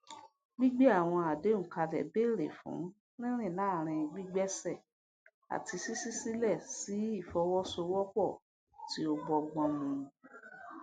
gbígbé àwọn àdéhùn kalẹ béèrè fún rírìn láàárín gbígbéṣẹ àti ṣíṣí sílẹ sí ìfọwọsowọpọ tí ó bọgbọn mu